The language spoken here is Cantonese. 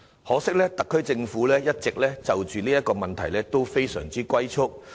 可惜，特區政府在這問題上一直"龜速"前行。